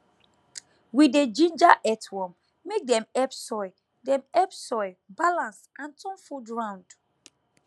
we dey ginger earthworm make dem help soil dem help soil balance and turn food round